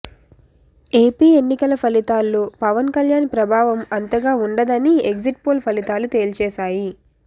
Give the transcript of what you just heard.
AP ఎన్నికల ఫలితాల్లో పవన్ కల్యాణ్ ప్రభావం అంతగా ఉండదని ఎగ్జిట్ పోల్ ఫలితాలు తేల్చేశాయి